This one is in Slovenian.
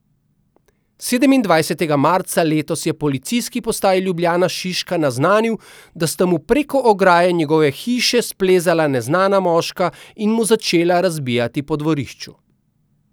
Sedemindvajsetega marca letos je Policijski postaji Ljubljana Šiška naznanil, da sta mu preko ograje njegove hiše splezala neznana moška in mu začela razbijati po dvorišču.